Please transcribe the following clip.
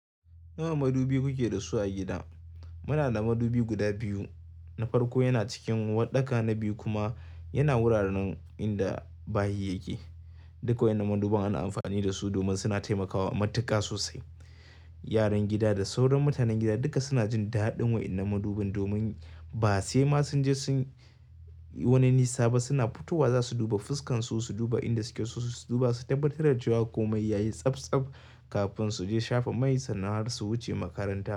Nawa madubi kuke da su a gida? Muna da madubi guda biyu, na farko yana cikin uwarɗaka, na biyu kuma yana wuraren inda bayi yake. Duk waɗannan madubin ana amfani da su domin suna taimakawa matuƙa sosai. Yaran gida da sauran mutanen gida duka suna jin daɗin waɗannan madubin domin ba sai ma sun je sunyi wani nisa ba suna fitowa za su duba fuskan su, su duba inda suke so su duba, su tabbatar da cewa ko mai yayi tsabtsab kafin su je shafa mai sannan har su wuce makaranta.